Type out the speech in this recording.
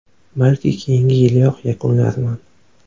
Balki, keyingi yiliyoq yakunlarman.